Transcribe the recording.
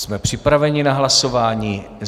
Jsme připraveni na hlasování.